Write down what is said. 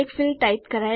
આગળના ભાગમાં મળીશું